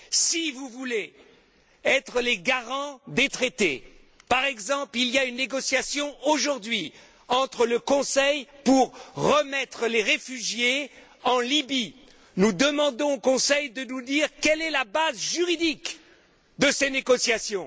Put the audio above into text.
Si vous voulez être les garants des Traités il y a par exemple une négociation aujourd'hui au sein du Conseil pour remettre les réfugiés en Libye nous demandons au Conseil de nous dire quelle est la base juridique de ces négociations.